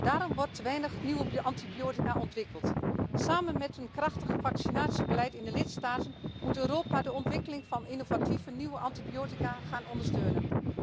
Daarom worden er te weinig nieuwe antibiotica ontwikkeld. Samen met een krachtig vaccinatiebeleid in de lidstaten moet Europa de ontwikkeling van innovatieve nieuwe antibiotica gaan ondersteunen.